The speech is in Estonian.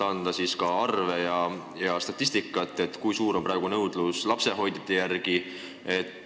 Kas teil on käepärast arve, statistikat, kui suur on praegu nõudlus lapsehoidjate järele?